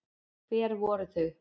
Hver voru þau?